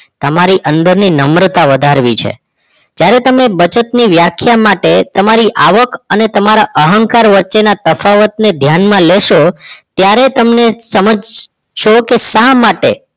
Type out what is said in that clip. તમારી અંદરની નમ્રતા વધારવી છે ત્યારે તમે બચત ની વ્યાખ્યા તે માટે તમારી આવક અને તમારા અહંકાર વચ્ચે ના તફાવત ને ધ્યાનમાં લેશો ત્યારે તમને સમજ સો છો તો શા માટે